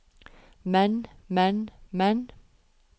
men men men